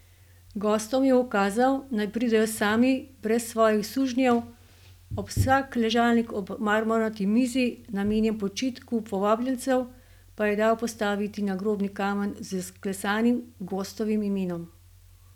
Gostom je ukazal, naj pridejo sami, brez svojih sužnjev, ob vsak ležalnik ob marmornati mizi, namenjen počitku povabljencev, pa je dal postaviti nagrobni kamen z vklesanim gostovim imenom.